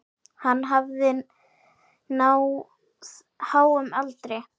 Hann hafði náð háum aldri.